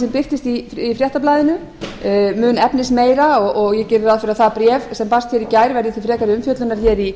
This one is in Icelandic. sem birtist í fréttablaðinu mun efnismeira og ég geri ráð fyrir að það bréf sem barst í gær verði til frekari umfjöllunar í